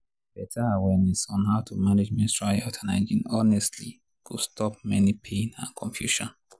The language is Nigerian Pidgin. better awareness on how to manage menstrual health and hygiene honestly go stop many pain and confusion.